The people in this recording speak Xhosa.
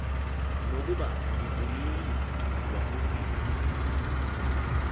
nokuba ndivuyile wakufika